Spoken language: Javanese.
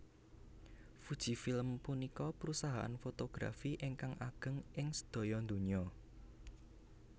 Fujifilm punika perusahaan fotografi ingkang ageng ing sedaya donya